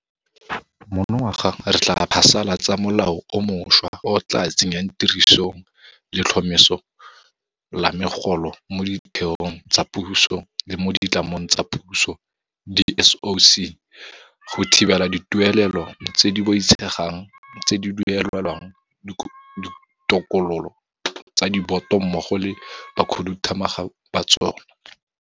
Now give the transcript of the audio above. Monongwaga re tla phasala tsa molao o mošwa o o tla tsenyang tirisong letlhomeso la megolo mo ditheong tsa puso le mo ditlamong tsa Puso di-SOC go thibela dituelelo tse di boitshegang tse di duelelwang ditokololo tsa diboto mmogo le bakhuduthamaga ba tsona.